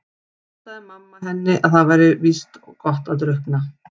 En þá sagði mamma henni að það væri víst gott að drukkna.